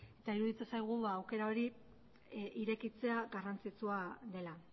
ez eta iruditzen zaigu ba aukera hori irekitzea garrantzitsua dela